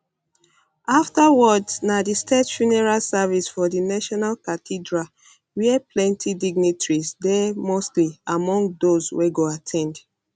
afta words na di state funeral service for di national cathedral wia plenti dignitaries dey mostly among dose wey go at ten d